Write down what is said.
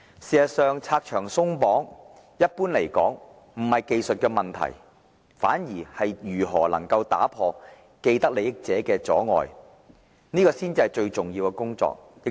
事實上，"拆牆鬆綁"一般而言技術上沒有問題，反而如何打破既得利益者的阻礙才是最重要的工作。